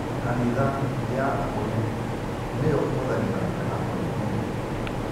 Kanitha ya akũrinũ nĩyo ĩhũthagĩra ndarama mũno